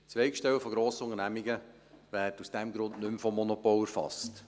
Zweigstellen von Grossunternehmungen werden aus diesem Grund nicht mehr vom Monopol erfasst.